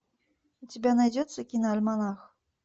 у тебя найдется киноальманах